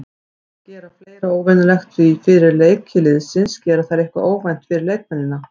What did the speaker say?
Þær gera fleira óvenjulegt því fyrir leiki liðsins gera þær eitthvað óvænt fyrir leikmennina.